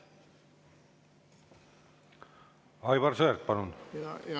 Aivar Sõerd, palun!